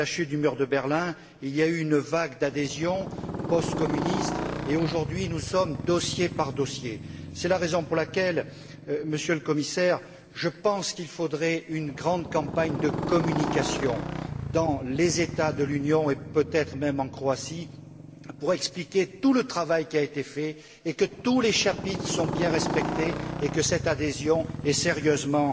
Après la chute du mur de Berlin, il y a eu une vague d'adhésions postcommunistes et aujourd'hui, nous sommes dossier par dossier. C'est la raison pour laquelle, Monsieur le Commissaire, je pense qu'il faudrait une grande campagne de communication dans les États de l'Union, et peut être même en Croatie, pour expliquer tout le travail qui a été fait, que tous les chapitres sont bien respectés et que cette adhésion est sérieusement